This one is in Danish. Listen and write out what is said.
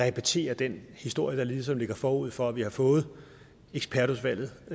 at repetere den historie der ligesom ligger forud for at vi har fået ekspertudvalgets